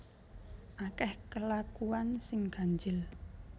Akeh kelakuan sing ganjil